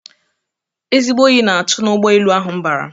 Ezigbo Oyi na atu na ụgbọ elu ahu m bara